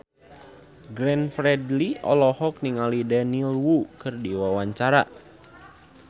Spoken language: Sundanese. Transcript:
Glenn Fredly olohok ningali Daniel Wu keur diwawancara